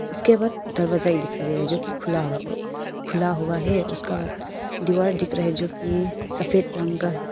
उसके बाद दरवाजा ही दिखाई दे रहा है जोकि खुला हुआ खुला हुआ है उसका बाद दीवार दिख रहा है जोकि सफेद रंग का--